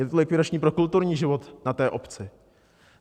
Je to likvidační pro kulturní život na té obci.